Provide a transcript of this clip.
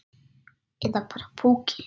Eða bara púki.